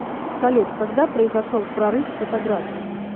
салют когда произошел прорыв в фотографии